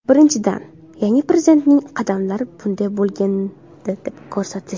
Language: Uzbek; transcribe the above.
Birinchidan, yangi Prezidentning qadamlari bunday bo‘lgandi deb ko‘rsatish.